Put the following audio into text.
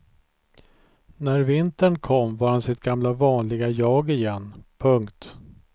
När vintern kom var han sitt gamla vanliga jag igen. punkt